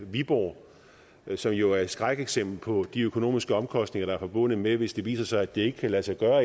viborg som jo er et skrækeksempel på de økonomiske omkostninger der er forbundet med det hvis det efterfølgende viser sig at det ikke kan lade sig gøre